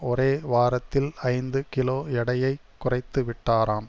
ஒரே வாரத்தில் ஐந்து கிலோ எடையை குறைத்து விட்டாராம்